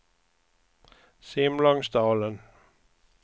Simlångsdalen